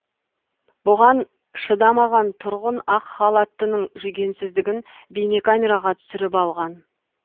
бұған шыдамаған тұрғын ақ халаттының жүгенсіздігін бейнекамераға түсіріп алған